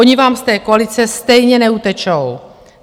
Oni vám z té koalice stejně neutečou.